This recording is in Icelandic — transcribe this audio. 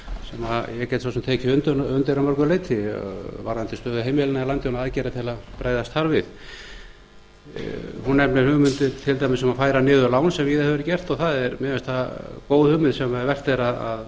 sem ég get svo sem tekið undir að mörgu leyti varðandi stöðu heimilanna í landinu og aðgerðir til að bregðast þar við hún nefnir hugmyndir til dæmis um að færa niður lán sem víða hefur verið gert og mér finnst það góð hugmynd sem vert er að